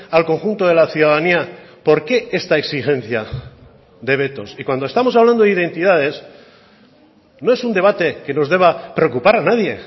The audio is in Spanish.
al conjunto de la ciudadanía por qué esta exigencia de vetos y cuando estamos hablando de identidades no es un debate que nos deba preocupar a nadie